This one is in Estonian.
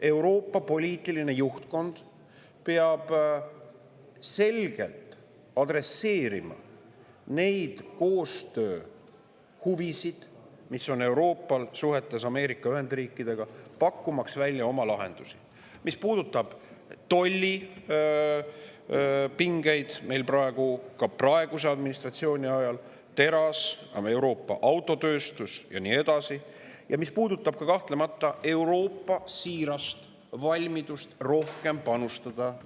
Euroopa poliitiline juhtkond peab selgelt adresseerima neid koostööhuvisid, mis Euroopal on suhetes Ameerika Ühendriikidega, ning pakkuma välja oma lahendusi, mis puudutavad tollipingeid ka praeguse administratsiooni ajal – teras, Euroopa autotööstus ja nii edasi – ja mis puudutavad kahtlemata ka Euroopa siirast valmidust julgeolekusse rohkem panustada.